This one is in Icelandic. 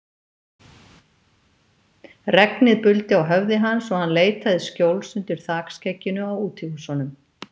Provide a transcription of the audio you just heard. Regnið buldi á höfði hans og hann leitaði skjóls undir þakskegginu á útihúsunum.